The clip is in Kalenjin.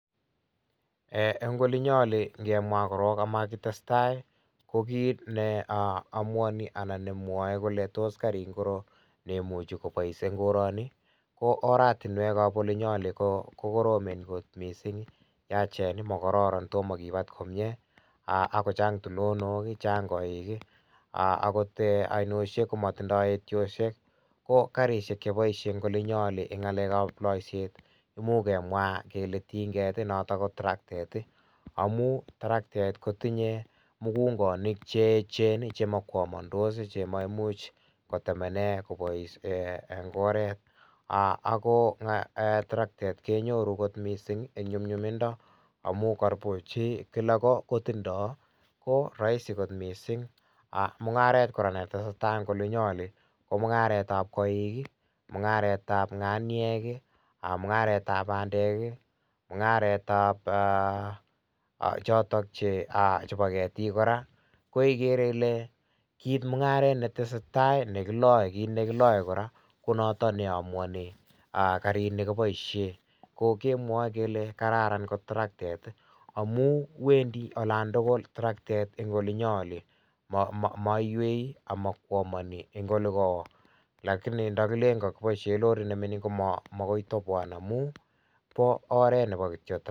Ee en olinyin oli ingemwaa korong amakitestaa ko kit aa neomuoni anan nemwoe kole tos karit ngiroo nemuche kobois en koroni ko oratinwek ap olinyo kokoromen kot misink, yachen mokororon tomokibat komie aa ak kochang tulonok ak kochang koik ii aa akot oinoshek komotindoi etioshek, ko karishek cheboishen en olinyo oli en ngalekab loiset komuch kemwaa kele tinget noton kotraktet ii amun terektet kotinye mugungonik cheechen ii chemokwomondos ii chemoimuch kotemenee kobois en oret ako terektet kenyoru kot misink en nyumnyumindo amun koburchi kilogo tindoo kiroisi kot misink mungaret netesetaa en ngoli nyon komungaretab koik ii, mungaretab nganiek ii, mungaretsv bandek ii, mungaretab aa chotok chebo ketik koraa ,koikere ile mungaret netesetaa ko nekiloe koraa konoton neomuoni karini kokiboishen kokemwoe kele kararan ngot misink traktet ii amun webdi olan tugul traktet en ngoli nyon oli moiwei omokwomoni ngelejoo lakini ndakilen lorit nemingin komookoi toboan amun bo oret ?